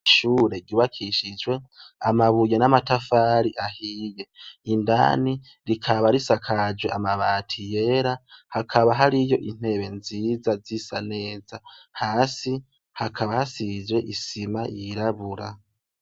Ishure ryubakishijwe amabuye n'amatafari ahiye indani rikaba risakajwe amabati yera hakaba hariyo intebe nziza zisa neza hasi hakaba hasizwe isima yirabura.